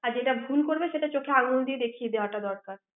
আর যেটা ভুল করবে সেটা চোখে আঙ্গুল দিয়ে সেটা দেখিয়ে দেওয়াটা দরকার